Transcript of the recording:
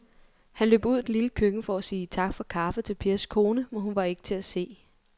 Han løb ud i det lille køkken for at sige tak for kaffe til Pers kone, men hun var ikke til at se.